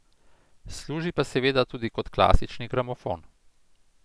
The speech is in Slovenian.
Služi pa seveda tudi kot klasični gramofon.